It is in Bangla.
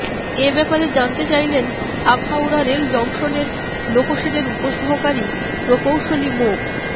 এ ব্যাপারে জানতে চাইলে আখাউড়া রেল জংশনের লোকোশেডের উপসহকারী প্রকৌশলী মো